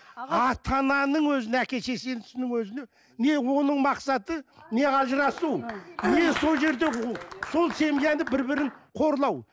ата ананың өзіне әке шешесінің өзіне не оның мақсаты не ажырасу не сол жерде сол семьяны бір бірін қорлау